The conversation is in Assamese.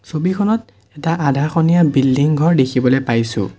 ছবিখনত এটা আধাখনিয়া বিল্ডিং ঘৰ দেখিবলৈ পাইছোঁ।